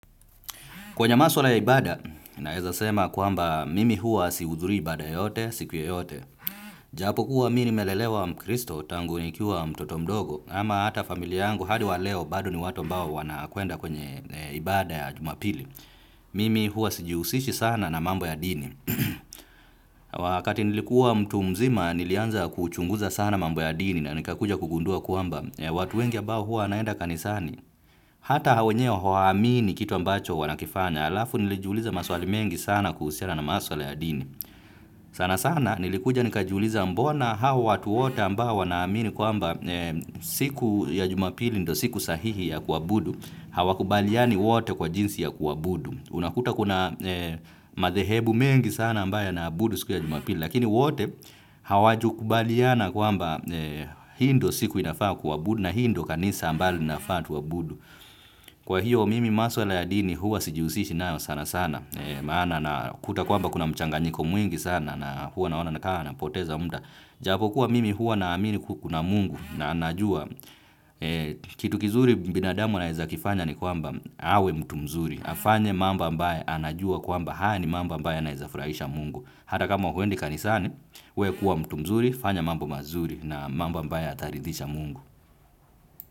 Kwenye maswala ya ibada, naeza sema kwamba mimi huwa sihuthurii ibada yoyote, siku yeyote. Japo kuwa mi ni melelewa mkristo tangu nikiwa mtoto mdogo, ama hata familia yangu hadi wa leo bado ni watu ambao wana kwenda kwenye ibada ya jumapili. Mimi hua sijihusishi sana na mambo ya dini. Wakati nilikuwa mtu mzima nilianza kuchunguza sana mambo ya dini na nikakuja kugundua kwamba watu wengi ambao huwa wanaenda kanisani. Hata hao wenyewe hawaamini kitu ambacho wanakifanya alafu nilijuliza maswali mengi sana kuhusiana na maswali ya dini. Sana sana nilikuja nikajiuliza mbona hawa watu wote ambao wanaamini kwamba siku ya jumapili ndo siku sahihi ya kuabudu. Hawa kubaliani wote kwa jinsi ya kuabudu. Unakuta kuna madhehebu mengi sana ambayo yanaabudu siku ya jumapili, lakini wote hawajukubaliana kwamba hii ndo siku inafaa ya kuabudu na hii ndo kanisa ambalo linafaa tuabudu. Kwa hiyo mimi maswala ya dini huwa sijihusishi nayo sana sana, maana nakuta kwamba kuna mchanganyiko mwingi sana na huwa naona nakaa na poteza mda. Japo kuwa mimi huwa na amini ku kuna mungu na anajua. Kitu kizuri binadamu anaeza kifanya ni kwamba awe mtu mzuri. Afanye mambo ambaye anajua kwamba haya ni mambo ambaye yanaeza furahisha mungu. Hata kama huendi kanisani, we kuwa mtu mzuri, fanya mambo mazuri na mambo ambayo yataridhisha mungu.